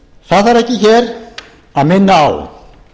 það þarf ekki hér að minna á